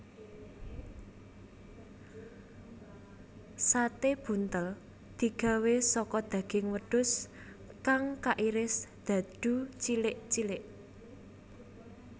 Sate buntel digawé saka daging wedhus kang kairis dadu cilik cilik